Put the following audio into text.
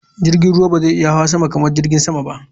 Jirgin sama ba zai iya hawa sama kamar jirgin sama ba.